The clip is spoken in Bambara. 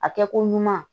A kɛko ɲuman